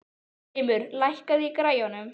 Þrymur, lækkaðu í græjunum.